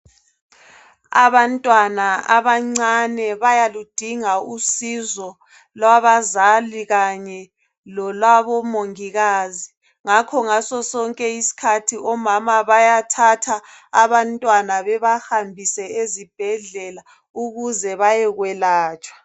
Abantwana abancane bayaludinga usizo lwabazali kanye lolwabo mongikazi ngakho ngaso sonke isikhathi omama bayabathatha abantwana bebahambise ezibhedlela ukuze bayekwelatshwa.